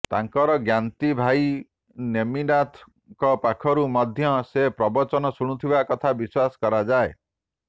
ତାଙ୍କର ଜ୍ଞାତି ଭାଇ ନେମିନାଥ ଙ୍କ ପାଖରୁ ମଧ୍ୟ ସେ ପ୍ରବଚନ ଶୁଣୁଥିବା କଥା ବିଶ୍ୱାସ କରାଯାଏ